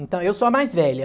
Então, eu sou a mais velha.